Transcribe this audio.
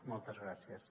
moltes gràcies